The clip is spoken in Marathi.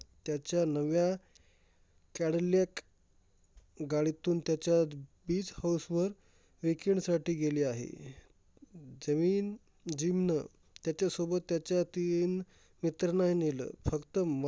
Cadillac गाडीतून त्याच्या बीज हाऊसवर weekend साठी गेली आहे. जमीन जिमनं त्याच्यासोबत त्याच्या तीन मित्रांनाही नेलं. फक्त मल